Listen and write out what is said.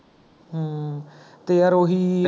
ਹਮਮ, ਤੇ ਯਾਰ ਉਹੀ